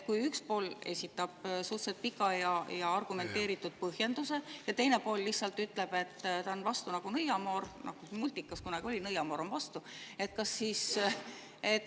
Üks pool esitab suhteliselt pika ja argumenteeritud põhjenduse, aga teine pool lihtsalt ütleb, et ta on vastu nagu nõiamoor – ühes multikas kunagi oli, et nõiamoor on vastu.